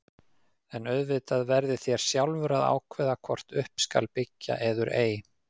En auðvitað verðið þér sjálfur að ákveða hvort upp skal byggja eður ei.